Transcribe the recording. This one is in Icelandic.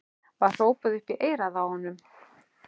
var hrópað upp í eyrað á honum.